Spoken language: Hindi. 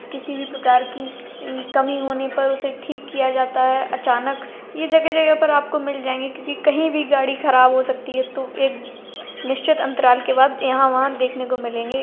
किसी भी प्रकार की इ कमी होने पर उसे ठीक किया जाता है। अचानक यह जगह जगह पर आपको मिल जायंगे क्यों की कहीं भी गाड़ी ख़राब हो सकती है तो एक निश्यत अंतराल के बाद यहाँ वहाँ देखने को मिलेंगे।